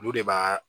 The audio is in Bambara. Olu de b'a